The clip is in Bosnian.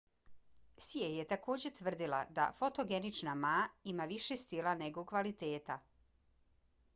hsieh je također tvrdila da fotogenična ma ima više stila nego kvaliteta